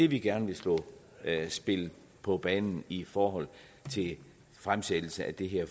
vi gerne vil spille på banen i forhold til fremsættelse af det her